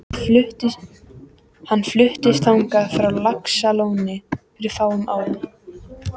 Hann fluttist þangað frá Laxalóni fyrir fáum árum.